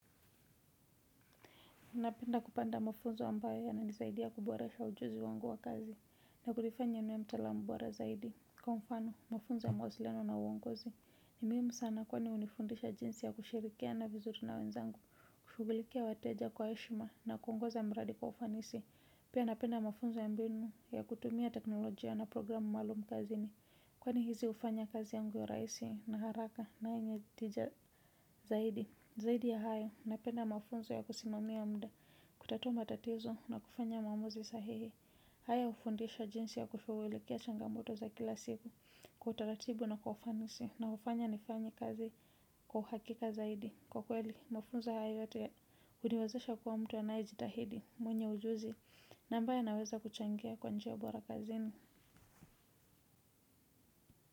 Napenda kupanda mafunzo ambayo yanaa nisaidia kuboresha ujuzi wangu wa kazi na kunifanya niwe mtaalamu borra zaidi. Kwa mfano, mafunzo ya mawasilino na uongozi ni muhimu sana kwani hunifundisha jinsi ya kushirikiana vizuri na wenzangu, kushughulikia wateja kwa heshima na kuongoza mradi kwa ufanisi. Pia napenda mafunzo ya mbinu ya kutumia teknolojia na programu maalum kazini kwani hizi hufanya kazi yangu iwe rahisi na haraka na yenye tija zaidi. Zaidi ya hayo napenda mafunzo ya kusimamia muda kutatua matatizo na kufanya maamuzi sahihi haya hufundisha jinsi ya kushughulikia changamoto za kila siku kwa utaratibu na kwa ufanisi unaofanya nifanye kazi kwa uhakika zaidi kwa kweli mafunzo hayo yote huniwezesha kuwa mtu anae jitahidi mwenye ujuzi na ambaye anaweza kuchangia kwa njia bora kazini.